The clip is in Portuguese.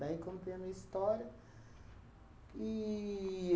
Daí eu contei a minha história. E